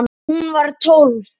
Hún var tólf.